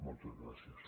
moltes gràcies